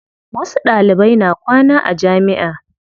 Wasu Ɗalibai na kwana a jamiʼa.